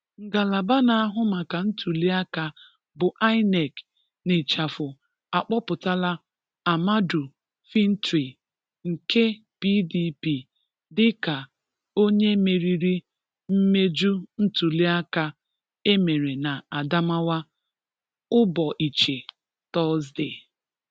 Ngalaba na-ahụ maka ntuliaka bụ INEC, n'ịchafụ akpọpụtala Ahmadu Fintri nke PDP dịka onye meriri mmeju ntuliaka e mere na Adamawa ụbọịchị Tọzde.